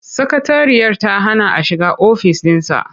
Sakatariyarsa ta hana a shiga ofis ɗinsa.